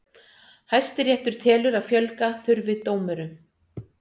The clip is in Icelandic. Hæstiréttur telur að fjölga þurfi dómurum